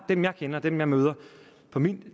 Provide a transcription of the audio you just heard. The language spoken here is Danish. dem jeg kender dem jeg møder på mine